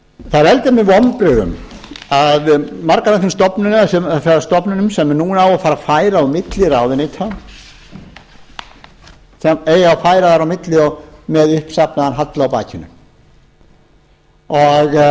það veldur mér vonbrigðum að margar af þessum stofnunum sem núna á að fara að færa á milli ráðuneyta það það eigi að færa þær á milli með uppsafnaðan halla á